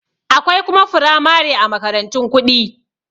Akwai kuma firamare a makarantun kuɗi